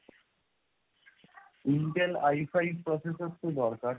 intel Ifive processor তো দরকার